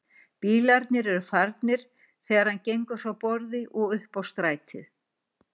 Bílarnir eru farnir þegar hann gengur frá borði og upp á stæðið.